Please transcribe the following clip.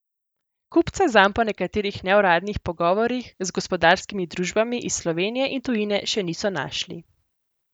Kupca zanj po nekaterih neuradnih pogovorih z gospodarskimi družbami iz Slovenije in tujine še niso našli.